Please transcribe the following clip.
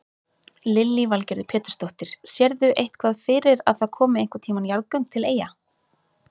Lillý Valgerður Pétursdóttir: Sérðu eitthvað fyrir að það komi einhvern tíman jarðgöng til Eyja?